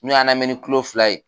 N'u y'an lamɛn ni kulo fila ye.